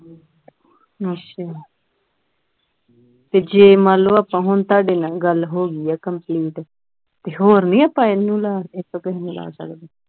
ਅੱਛਾ ਤੇ ਜੇ ਮੰਨ ਲਓ ਆਪਾਂ ਹੁਣ ਤੁਹਾਡੇ ਨਾਲ ਗੱਲ ਹੋ ਗਈ ਆ complete ਤੇ ਹੋਰ ਨਹੀਂ ਆਪਾਂ ਇਹਨੂੰ ਲਾਹ ਸਕਦੇ ਕਿਸੇ ਹੋਰ ਨੂੰ ਲਾਹ ਸਕਦੇ